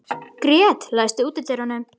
Grét, læstu útidyrunum.